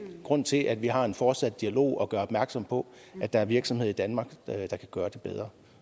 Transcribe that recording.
grund til at vi har en fortsat dialog og gør opmærksom på at der er virksomheder i danmark der kan gøre det bedre